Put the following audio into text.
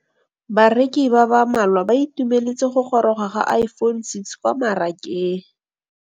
Bareki ba ba malwa ba ituemeletse go gôrôga ga Iphone6 kwa mmarakeng.